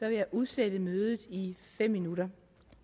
jeg udsætte mødet i fem minutter